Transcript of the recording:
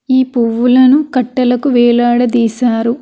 ఈ పువ్వులును కట్టలకి వేలాడ దిశారు.